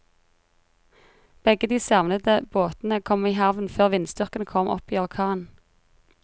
Begge de savnede båtene kom i havn før vindstyrken kom opp i orkan.